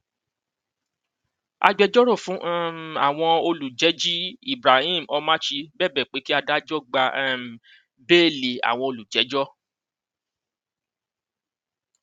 agbẹjọrò fún um àwọn olùjẹji ibrahim omachi bẹbẹ pé kí adájọ gba um béèlì àwọn olùjẹjọ